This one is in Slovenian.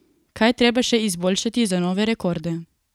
Kaj je treba še izboljšati za nove rekorde?